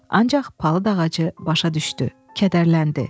Ancaq palıd ağacı başa düşdü, kədərləndi.